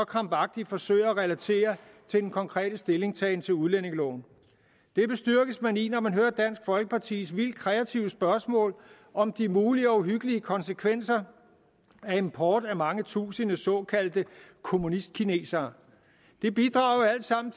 krampagtigt forsøger at relatere til den konkrete stillingtagen til udlændingeloven det bestyrkes man i når man hører dansk folkepartis vildt kreative spørgsmål om de mulige og uhyggelige konsekvenser af import af mange tusinde såkaldte kommunistkinesere det bidrager alt sammen